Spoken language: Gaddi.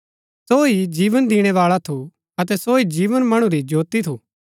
सो ही जीवन दिणै बाळा थू अतै सो जीवन मणु री ज्योती थू